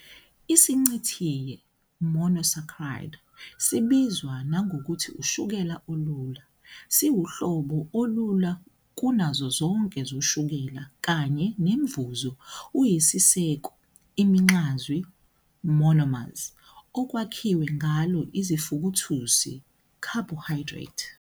IsiNcithinye "monosaccharide", sibizwa nangokuthi ushukela olula, siwuhlobo olula kunazo zonke zoshukela kanye nemuvo uyisiseko, iminxazwi "monomers", okwakhiwe ngalo izifukuthusi "carbohydrate".